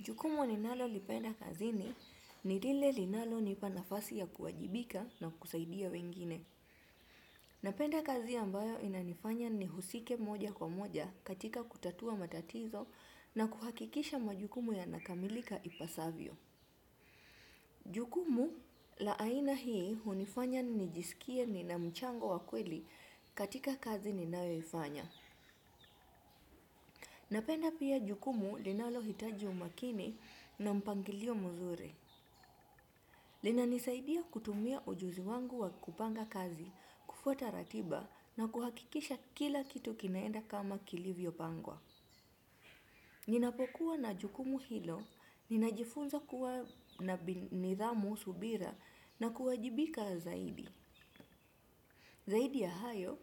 Jukumu ninalolipenda kazi ni lile linalo nipa nafasi ya kuwajibika na kusaidia wengine. Napenda kazi ambayo inanifanya ni husike moja kwa moja katika kutatua matatizo na kuhakikisha majukumu yanakamilika ipasavyo. Jukumu la aina hii hunifanya nijisikie nina mchango wa kweli katika kazi ninayoifanya. Napenda pia jukumu linalo hitaji umakini na mpangilio mzuri. Lina nisaidia kutumia ujuzi wangu wa kupanga kazi, kufuata ratiba na kuhakikisha kila kitu kinaenda kama kilivyo pangwa. Ninapokuwa na jukumu hilo, ninajifunza kuwa na nidhamu subira na kuwajibika zaidi. Zaidi ya hayo,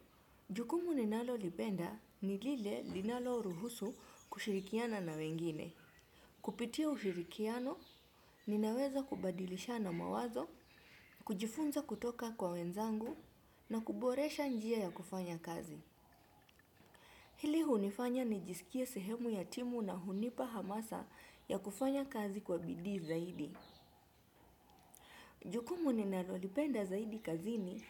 jukumu ninalo lipenda, ni lile linalo ruhusu kushirikiana na wengine. Kupitia ufirikiano, ninaweza kubadilishana mawazo, kujifunza kutoka kwa wenzangu na kuboresha njia ya kufanya kazi. Hili hunifanya nijisikie sehemu ya timu na hunipa hamasa ya kufanya kazi kwa bidii zaidi. Jukumu ninalolipenda zaidi kazini,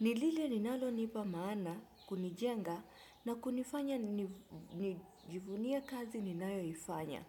ni lile linalonipa maana kunijenga na kunifanya nijivunie kazi ninayoifanya.